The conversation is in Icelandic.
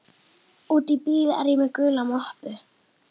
úti í bíl er ég með gula möppu.